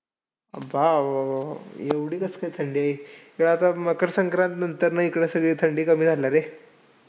बाबाबाबा! एवढी कशी काय थंडी? ह्या आता मकरसंक्रांत नंतर ना इकडं सगळी थंडी कमी झाली रे.